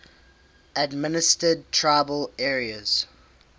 administered tribal areas